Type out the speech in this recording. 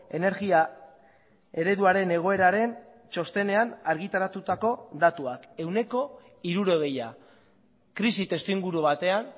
energia ereduaren egoeraren txostenean argitaratutako datuak ehuneko hirurogeia krisi testuinguru batean